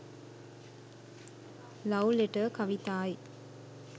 love letter kavithai